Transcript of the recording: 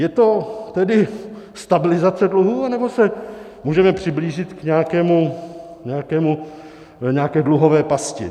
Je to tedy stabilizace dluhů, anebo se můžeme přiblížit k nějaké dluhové pasti?